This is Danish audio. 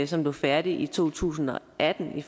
som blev færdigt i to tusind og atten i